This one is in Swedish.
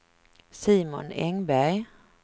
Simon Engberg